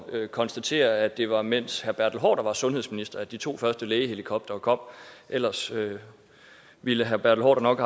at konstatere at det var mens herre bertel haarder var sundhedsminister at de to første lægehelikoptere kom ellers ville herre bertel haarder nok